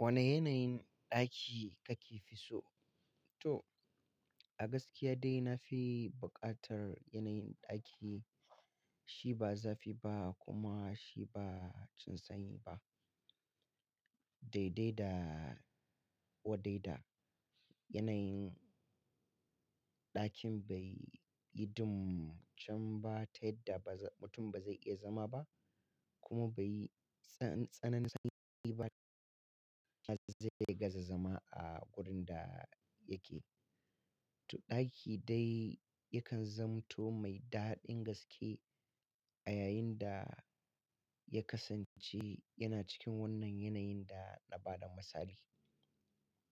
Wane yanayin ɗaki kake fi so? To, a gaskiya dai na fi buƙatar yanayin ɗaki shi ba zafi ba kuma shi ba jin sanyi ba. Daidai da wadaida yanayin ɗakin bai yi dum can ba ta yadda ba za mutum ba zai iya zama ba kuma bai yi tsananin sanyi ba. Yadda mutum zai zama a gurin da yake. To ɗaki dai yakan zamto mai daɗin gaske a yayin da ya kasance yana cikin wannan yanayin da na ba da misali.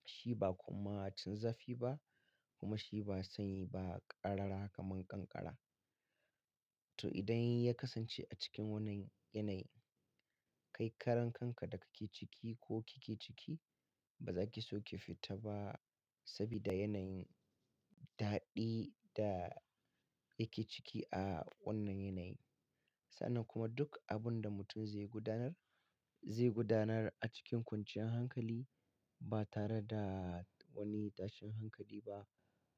Shi ba kuma can zafi ba kuma shi ba sanyi ba, ƙarara kaman ƙanƙara. To idan ya kasance a cikin wannan yanayin, kai karan kanka da kake ciki ko kike ciki bazaki so ki fita ba sabida yanayin daɗi da yake ciki a wannan yanayin. Sa'annan kuma duk abun da mutum zai gudanar, zai gudanar a cikin kwanciyar hankali ba tare da wani tashin hankali ba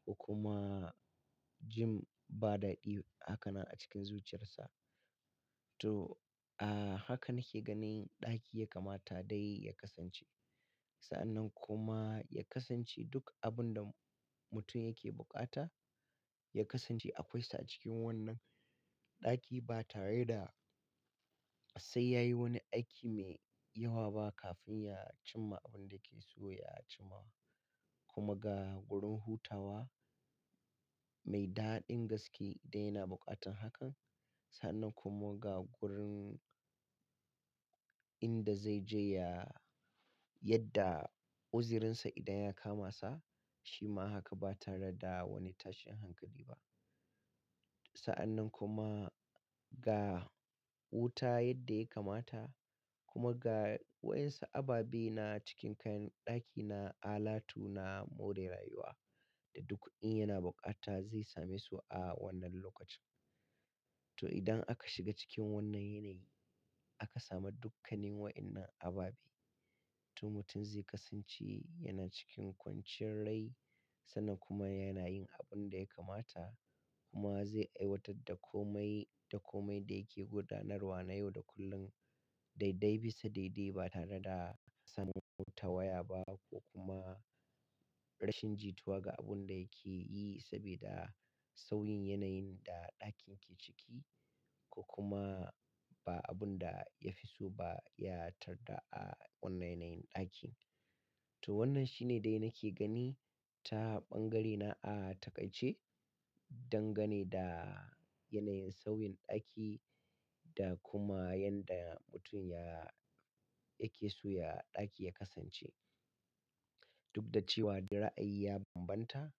ko kuma jin ba daɗi haka nan a cikin zuciyarsa. To, a haka nake ganin ɗaki ya kamata dai ya kasance. Sa'annan kuma ya kasance duk abun da mutum yake buƙata, ya kasance akwai sa a cikin wannan ɗaki ba tare da sai yayi wani aiki mai yawa ba kafin ya cimma abun da yake so ya cimmawa. Kuma ga gurin hutawa mai daɗin gaske da yana buƙatar hakan. Sa'annan kuma ga gurin inda zai je ya yadda uzirinsa idan ya kama sa, shi ma haka ba tare da wani tashin hankali ba. Sa'annan kuma ga wuta yadda ya kamata kuma ga wa'insu ababe na cikin kayan ɗaki na alatu na more rayuwa da duk in yana buƙata zai same su a wannan lokacin. To idan aka shiga cikin wannan yanayi, aka samu dukkanin wa'innan ababe. To mutum zai kasance yana cikin kwanciyar rai sannan kuma yana yin abun da ya kamata kuma zai aiwatar da komai da komai da yake gudanarwa na yau da kullum daidai bisa daidai ba tare da samun tawaya ba ko kuma rashin jituwa ga abun da yake yi sabida sauyin yanayin da ɗakin ke ciki ko kuma ba abun da ya fi so ba ya tarda a wannan yanayin ɗakin. To wannan shine dai nake gani ta ɓangare na a taƙaice don gane da yanayin sauyin ɗaki da kuma yanda mutum ya, yake so ya, ɗaki ya kasance. Duk da cewa dai ra'ayi ya bambanta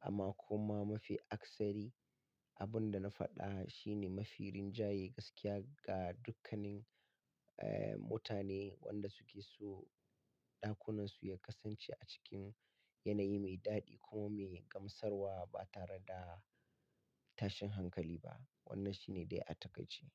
amma kuma mafi aksari a abun da na faɗa shine mafi rinjaye gaskiya ga dukkanin, eh, mutane wanda suke so ɗakunansu ya kasance a cikin yanayi mai daɗi kuma mai gamsarwa ba tare da tashin hankali ba. Wannan shine dai a taƙaice.